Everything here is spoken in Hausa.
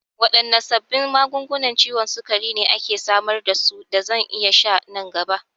Waɗanne sabbin magungunan ciwon sukari ne ake samar da su da zan iya sha nan gaba?